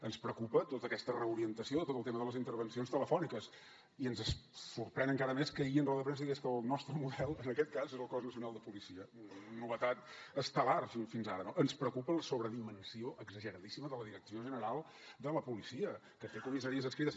ens preocupa tota aquesta reorientació tot el tema de les intervencions telefòniques i ens sorprèn encara més que ahir en roda de premsa digués que el nostre model en aquest cas és el cos nacional de policia novetat estel·lar fins ara no ens preocupa la sobredimensió exageradíssima de la direcció general de la policia que té comissaries adscrites